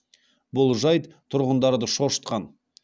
бұл жайт тұрғындарды шошытқан